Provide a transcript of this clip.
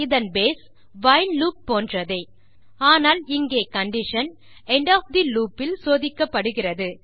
இதன் base while loop போன்றதே ஆனால் இங்கே condition end of the loop இல் சோதிக்கப்படுகிறது